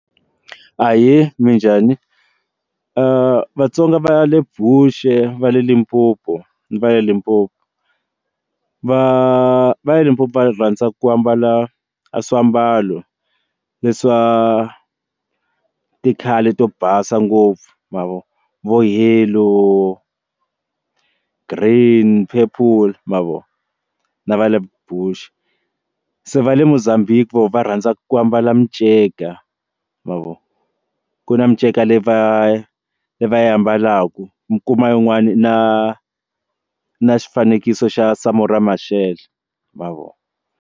Ahee, minjhani? Vatsonga va le Bush, va le Limpopo ni va la Limpopo va va le Limpopo va rhandza ku ambala swiambalo leswa ti-color to basa ngopfu ma vo vo yellow, green, purple ma vo na va le Bush se va le Mozambique vona va rhandza ku ambala miceka ma vo ku na miceka leyi va yi va yi ambalaka mi kuma yin'wani na na xifaniso xa Samora Mashele ma vo.